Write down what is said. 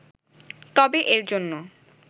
তবে এর জন্য